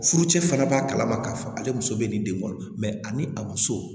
Furucɛ fana b'a kalama k'a fɔ ale muso bɛ nin den kɔnɔ ani a muso